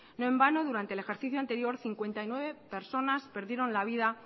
no en vano durante el ejercicio anterior cincuenta y nueve personas perdieron la vida